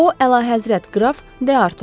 O Əlahəzrət qraf De Artuadır.